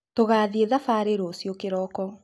Tũgathiĩ thabarĩ rũciũ kĩroko